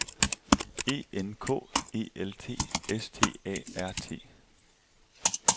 E N K E L T S T A R T